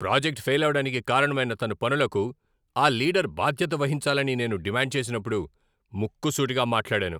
Project fail అవడానికి కారణమైన తన పనులకు ఆ లీడర్ బాధ్యత వహించాలని నేను డిమాండ్ చేసినప్పుడు ముక్కుసూటిగా మాట్లాడాను.